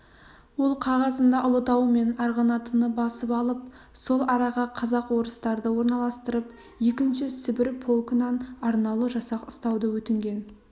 ол қағазында ұлытау мен арғынатыны басып алып сол араға казак-орыстарды орналастырып екінші сібір полкынан арнаулы жасақ ұстауды өтінген